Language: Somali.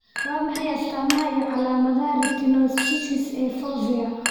Waa maxay astamaha iyo calaamadaha Retinoschisis ee Fovea?